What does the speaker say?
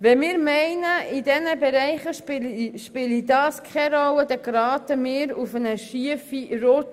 Wenn wir meinen, in diesen Bereichen spielt das keine Rolle, bekommen wir Probleme.